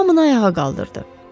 Hamını ayağa qaldırdı.